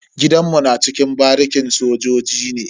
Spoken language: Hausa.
Gidanmu na cikin barikin sojoji ne.